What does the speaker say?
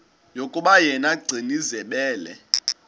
yokuba yena gcinizibele